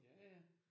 Ja ja